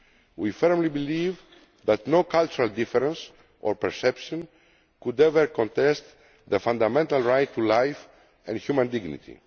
We firmly believe that no cultural difference or perception could ever contest the fundamental right to life and human dignity.